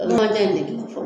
O kuma